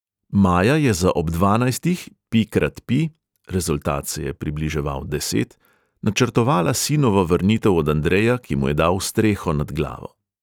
Maja je za ob dvanajstih, pi krat pi (rezultat se je približeval deset), načrtovala sinovo vrnitev od andreja, ki mu je dal streho nad glavo.